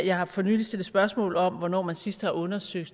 jeg har for nylig stillet spørgsmål om hvornår man sidst har undersøgt